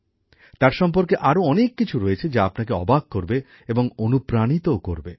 তার সম্পর্কে আরও অনেক কিছু রয়েছে যা আপনাকে অবাক করবে এবং অনুপ্রাণিতও করবে